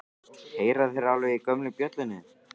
Heyra þeir alveg í gömlu bjöllunni?